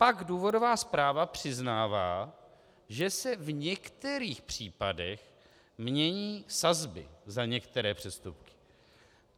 Pak důvodová zpráva přiznává, že se v některých případech mění sazby za některé přestupky.